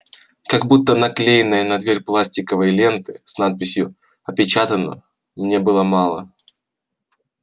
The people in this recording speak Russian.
как будто наклеенной на дверь пластиковой ленты с надписью опечатано мне было мало